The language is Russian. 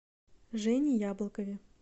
жене яблокове